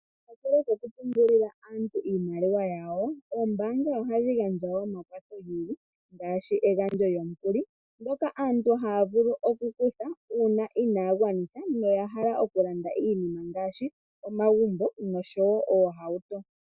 Natu tuliipo okupungulila aantu iimaliwa yawo, oombanga ohadhi gandja omakwatho ngaashi egandjo lyomukuli ngoka aantu haya kutha uuna inaya gwanitha noya hala okulanda iinima ngaashi omagumbo noshowo oohauto.